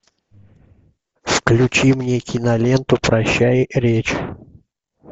включи мне киноленту прощай речь